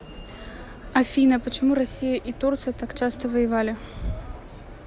афина почему россия и турция так часто воевали